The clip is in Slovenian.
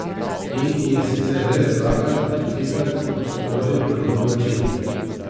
In ji je sicer res dvakrat ali trikrat odgovoril na grob način.